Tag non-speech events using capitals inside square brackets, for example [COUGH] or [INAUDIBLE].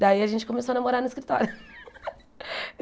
Daí, a gente começou a namorar no escritório. [LAUGHS]